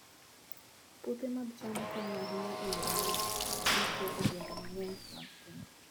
Puothe mag cham konyo ahinya e yore mag yuto e gwenge mang'eny mag piny.